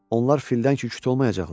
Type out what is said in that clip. Onlar fildən küt olmayacaqlar.